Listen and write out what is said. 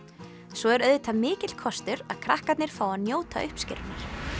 svo er auðvitað mikill kostur að krakkarnir fá að njóta uppskerunnar